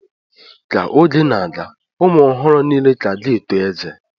Ka oge na-aga, ụmụ ọhụrụ niile ka ga-eto ezé